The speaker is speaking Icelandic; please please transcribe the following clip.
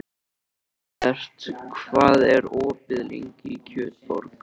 Heiðbert, hvað er opið lengi í Kjötborg?